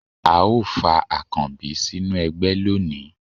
a o fa akanbí sinú ẹgbẹ loní